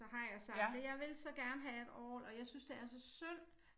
Så har jeg sagt det jeg vil så gerne have et orgel og jeg synes det er så synd